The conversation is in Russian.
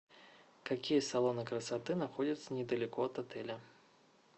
какие салоны красоты находятся недалеко от отеля